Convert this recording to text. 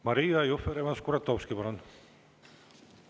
Maria Jufereva-Skuratovski, palun!